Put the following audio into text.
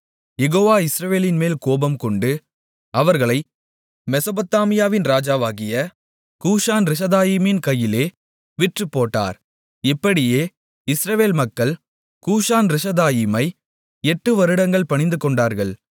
யெகோவா இஸ்ரவேலின்மேல் கோபம் கொண்டு அவர்களை மெசொப்பொத்தாமியாவின் ராஜாவாகிய கூசான்ரிஷதாயீமின் கையிலே விற்றுப்போட்டார் இப்படியே இஸ்ரவேல் மக்கள் கூசான்ரிஷதாயீமை எட்டு வருடங்கள் பணிந்துகொண்டார்கள்